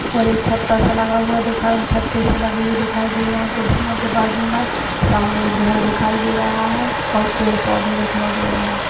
और एक छत्ता सा लगा हुआ दिखा छत्ते से लगे हुए दिखाई दे रहे हैं कुर्सियों के बाजू मे सामने एक घर दिखाई दे रहा है और पेड़ पौधे दिखाई दे रहे हैं।